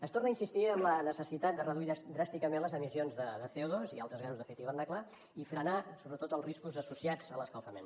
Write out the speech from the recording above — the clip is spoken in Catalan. es torna a insistir en la necessitat de reduir dràsticament les emissions de cod’hivernacle i frenar sobretot els riscos associats a l’escalfament